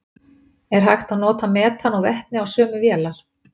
er hægt að nota metan og vetni á sömu vélar